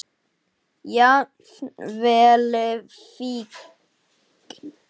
Jafnvel fíkn.